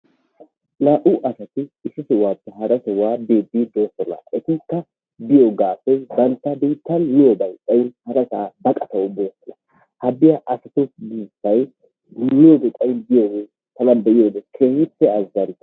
Naa"u asati issi sohuwaappe hara sihuwaa biidi de"oosona. Etikka biyoogaappe bantta biittan miyoobay xaayin baqatawu boosona. Ha biyaa asatu buussay tana be'iyoode keehippe azanttees.